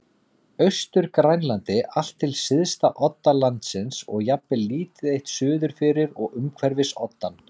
Austur-Grænlandi allt til syðsta odda landsins og jafnvel lítið eitt suður fyrir og umhverfis oddann.